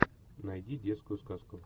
найди детскую сказку